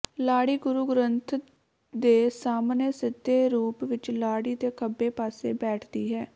ਲਾੜੀ ਗੁਰੂ ਗ੍ਰੰਥ ਦੇ ਸਾਹਮਣੇ ਸਿੱਧੇ ਰੂਪ ਵਿਚ ਲਾੜੀ ਦੇ ਖੱਬੇ ਪਾਸੇ ਬੈਠਦੀ ਹੈ